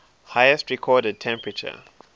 highest recorded temperature